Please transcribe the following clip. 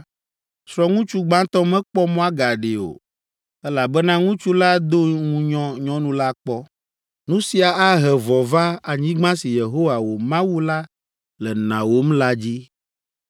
srɔ̃ŋutsu gbãtɔ mekpɔ mɔ agaɖee o, elabena ŋutsu la do ŋunyɔ nyɔnu la kpɔ. Nu sia ahe vɔ̃ va anyigba si Yehowa, wò Mawu la le nawòm la dzi.